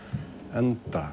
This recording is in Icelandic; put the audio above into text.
enda